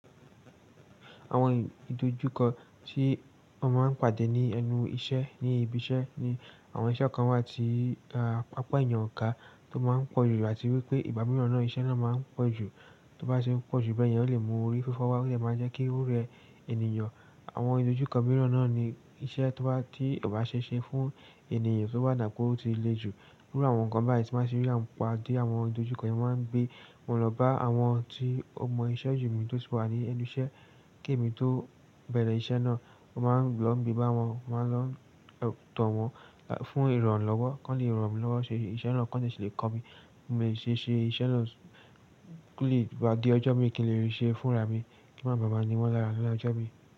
Àwọn ìdojúkọ tí mọ́ máa ń pàdé ní ẹnu iṣẹ́ ní ibi iṣẹ́ ni àwọn iṣẹ́ kan wà tí, àpa eeyan ọ̀ èèyàn kà, tó máa ń pọ̀ jù àti wípé ìgbá miiran náà, iṣẹ́ náà máa ń pọ̀ jù. Tó bá ṣe ń pọ̀ jù bẹ́ẹ̀ yẹn, ó lè mú orí fífọ́ wá ó dè máa n jẹ́ kí ó rẹ ènìyàn. Àwọn ìdojúkọ mìíràn náà ni iṣẹ́ tó bá-- tí kò bá ṣee ṣe fún ènìyàn tó bá dà bi pe ọ́ ti lé jù. Iru àwọn nǹkan báyìí tí n bá ń ṣe rí a-- pàdé àwọn ìdojúkọ yẹn mo máa ń gbé. Mo lọ bá àwọn tí ó mọ iṣẹ́ ju mi-- tó tì wà ní ẹnu iṣẹ́, kí èmi tó bẹ̀rẹ̀ iṣẹ́ náà. Mo máa ń lọ n gbé bá wọn, màá lọ n tọ̀ wọn fún ìrànlọ́wọ́. Kọ́n le rànmi lọ́wọ́ ṣe iṣẹ́ náà, kọ́n de ṣi lè kọ́ mi. Mo lè ṣe iṣẹ́ náà ko lè gba di ọjọ́ mí i kín lè rí ṣe fúnra mi. Kí n máa lo maa ni wọ́n lára ni ọjọ́ mi.